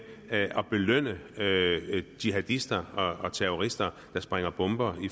at belønne jihadister og terrorister der sprænger bomber